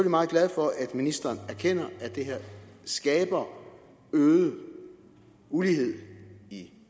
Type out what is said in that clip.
meget glad for at ministeren erkender at det her skaber øget ulighed i